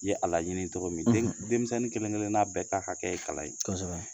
Ye a laɲini cɔgɔ min. Den denmisɛnnin kelen kelenna bɛɛ ka hakɛ ye kalan ye. Kosɛbɛ.